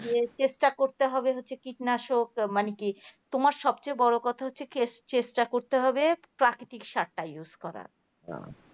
যে চেষ্টা করতে হবে হচ্ছে কীটনাশক মানে কি তোমার সবচেয়ে বড় কথা হচ্ছে চেষ্টা করতে হবে প্রাকৃতিক সারটা use করা,